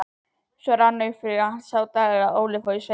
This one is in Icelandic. Svo rann upp sá dagur að Óli fór í sveitina.